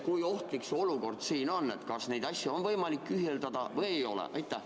Kui ohtlik meie olukord siin ikkagi on ja kas on võimalik ka saali kohale tulla?